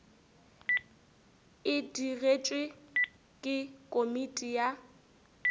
e digetšwe ke komiti ya